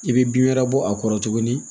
I bɛ bin wɛrɛ bɔ a kɔrɔ tuguni